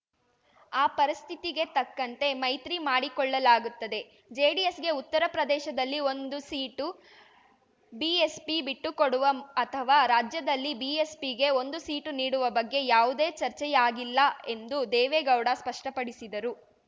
ಆ ಪರಿಸ್ಥಿತಿಗೆ ತಕ್ಕಂತೆ ಮೈತ್ರಿ ಮಾಡಿಕೊಳ್ಳಲಾಗುತ್ತದೆ ಜೆಡಿಎಸ್‌ಗೆ ಉತ್ತರ ಪ್ರದೇಶದಲ್ಲಿ ಒಂದು ಸೀಟು ಬಿಎಸ್ಪಿ ಬಿಟ್ಟುಕೊಡುವ ಅಥವಾ ರಾಜ್ಯದಲ್ಲಿ ಬಿಎಸ್ಪಿಗೆ ಒಂದು ಸೀಟು ನೀಡುವ ಬಗ್ಗೆ ಯಾವುದೇ ಚರ್ಚೆಯಾಗಿಲ್ಲ ಎಂದು ದೇವೇಗೌಡ ಸ್ಪಷ್ಟಪಡಿಸಿದರು